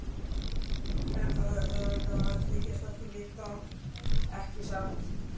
En það er auðveldara að þykjast ekkert vita, ekki satt.